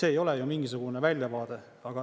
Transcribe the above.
See ei ole ju mingisugune väljavaade.